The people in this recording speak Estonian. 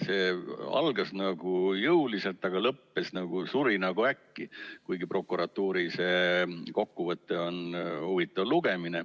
See algas jõuliselt, aga lõppes, suri nagu äkki, kuigi prokuratuuri kokkuvõte on huvitav lugemine.